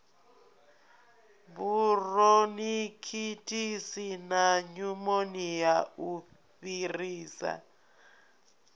buronikhitisi na nyumonia u fhirisa